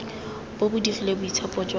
bo bo digile boitshepo jwa